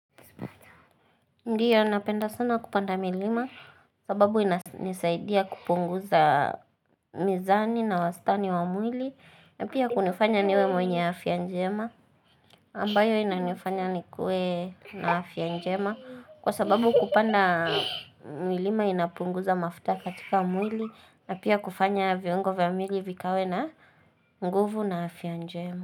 Ndiyo napenda sana kupanda milima sababu inasaidia kupunguza mizani na wastani wa mwili na pia kunifanya niwe mwenye afia njema ambayo inanifanya nikuwe na afia njema kwa sababu kupanda milima inapunguza mafuta katika mwili na pia kufanya viongo vya mili vikawe na nguvu na afia njema.